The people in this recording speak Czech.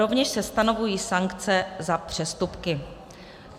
Rovněž se stanovují sankce za přestupky.